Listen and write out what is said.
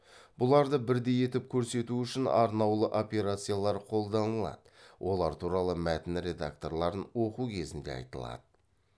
бұларды бірдей етіп көрсету үшін арнаулы операциялар қолданылады олар туралы мәтін редакторларын оқу кезінде айтылады